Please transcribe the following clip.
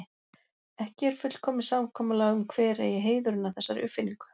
Ekki er fullkomið samkomulag um hver eigi heiðurinn að þessari uppfinningu.